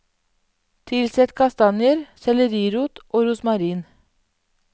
Tilsett kastanjer, sellerirot og rosmarin.